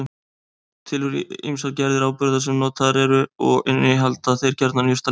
Til eru ýmsar gerðir áburða sem notaðir eru og innihalda þeir gjarnan jurtalyf.